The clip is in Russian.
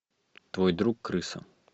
твой друг крыса